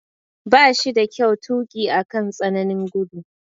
Ba shi da kyau tuki akan tsananin gudu.